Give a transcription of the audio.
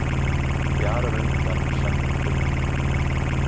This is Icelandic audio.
Fjarar undan Sönnum Finnum